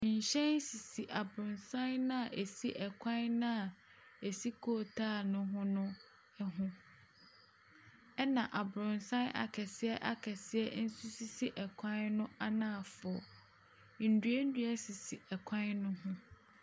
Nhyɛn sisi abrɔsan no a esi kwan no a esi coal tar no ho no ho. Ɛna abrɔnsan akɛseɛ akɛseɛ nso si kwan no anaafoɔ. Nnua nnua sisi kwan no ho.